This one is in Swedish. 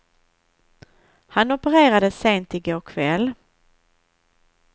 Han opererades sent i går kväll.